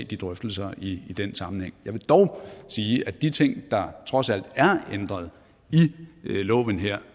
de drøftelser i den sammenhæng jeg vil dog sige at de ting der trods alt er ændret i loven her